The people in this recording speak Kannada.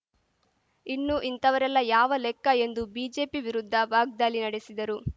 ಇನ್ನು ಇಂಥವರೆಲ್ಲಾ ಯಾವ ಲೆಕ್ಕ ಎಂದು ಬಿಜೆಪಿ ವಿರುದ್ಧ ವಾಗ್ದಾಳಿ ನಡೆಸಿದರು